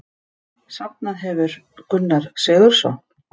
Safnað hefur Gunnar Sigurðsson.